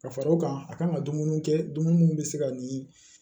Ka fara o kan a kan ka dumuni kɛ dumuni minnu bɛ se ka ni